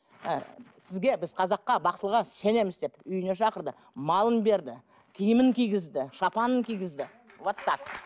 ііі сізге біз қазаққа бақсыға сенеміз деп үйіне шақырды малын берді киімін кигізді шапанын кигізді вот так